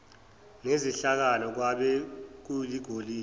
nezihlakala kwabe kuligolide